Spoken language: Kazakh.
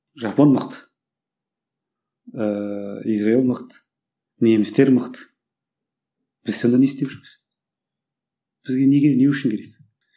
жапон мықты ыыы израиль мықты немістер мықты біз сонда не істеп жүрміз бізге неге не үшін керек